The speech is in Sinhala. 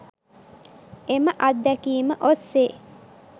එම අත්දැකීම ඔස්සේ